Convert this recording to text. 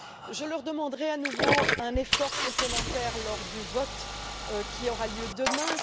Je leur demanderai à nouveau un effort complémentaire lors du vote qui aura lieu demain.